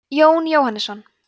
jón jóhannesson